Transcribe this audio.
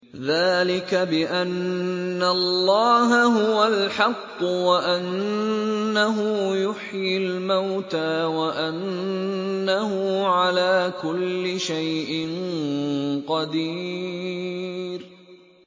ذَٰلِكَ بِأَنَّ اللَّهَ هُوَ الْحَقُّ وَأَنَّهُ يُحْيِي الْمَوْتَىٰ وَأَنَّهُ عَلَىٰ كُلِّ شَيْءٍ قَدِيرٌ